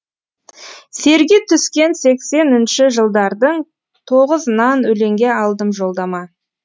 серги түскен сексенінші жылдардың тоғызынан өлеңге алдым жолдама